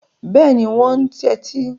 Bẹ́ẹ̀ni, wọn ń tẹ́tí.